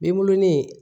Denbulonin